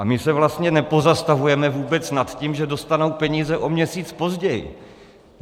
A my se vlastně nepozastavujeme vůbec nad tím, že dostanou peníze o měsíc později.